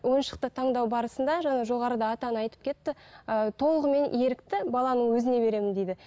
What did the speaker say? ойыншықты таңдау барысында жаңа жоғарыда ата ана айтып кетті ыыы толығымен ерікті баланың өзіне беремін дейді